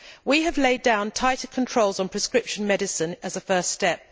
We have laid down tighter controls on prescription medicine as a first step.